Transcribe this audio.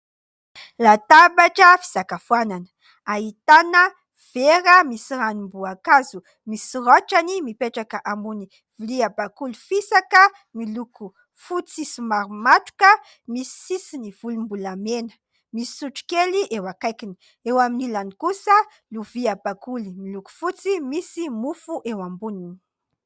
Latabatra fisakafoanana. Ahitana vera misy ranom-boankazo misy raotrany mipetraka ambony vilia bakoly fisaka miloko fotsy somary matroka misy sisiny volom-bolamena. Misy sotro kely eo akaikiny. Eo amin'ny ilany kosa, lovia bakoly miloko fotsy misy mofo eo amboniny.